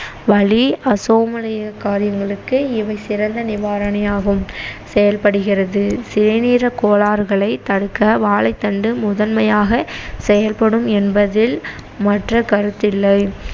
வலி அசௌகரிய காரியங்களுக்கு இவை சிறந்த நிவாரணியாகும் செயல்படுகிறது சிறுநீரகக்கோளாறுகளை தடுக்க வாழைத்தண்டு முதன்மையாக செயல்படும் என்பதில் மற்ற கருத்தில்லை